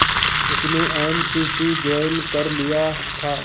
उसने N C C join कर लिया था